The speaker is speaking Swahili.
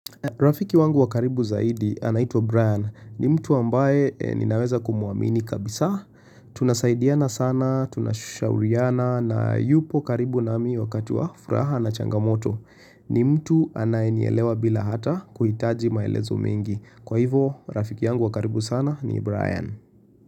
Rafiki wangu wa karibu zaidi anaitwa Brian. Ni mtu ambaye ninaweza kumwamini kabisa. Tunasaidiana sana, tunashauriana na yupo karibu nami wakati wa furaha na changamoto. Ni mtu anayenielewa bila hata kuhitaji maelezo mengi. Kwa hivyo, rafiki wa karibu sana ni Brian.